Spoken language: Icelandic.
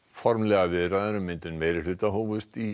formlegar viðræður um myndun meirihluta hófust í